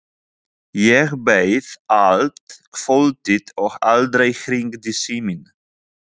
Ég beið allt kvöldið og aldrei hringdi síminn.